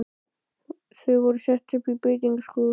Þau voru sett upp í beitingaskúr.